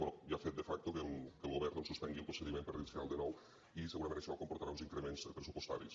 bé ja ha fet de facto que el govern suspengui el procediment per iniciar lo de nou i segurament això comportarà uns increments pressupostaris